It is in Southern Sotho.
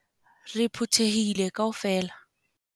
Re phuthehile kaofela.